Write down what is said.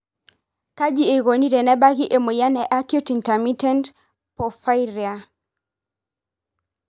kaji eikoni tenebaki emoyian e acute intermittent porphyria (AIP) ?